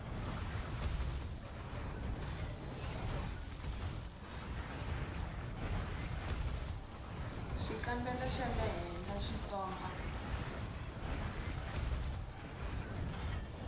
xikambelo xa le henhla xitsonga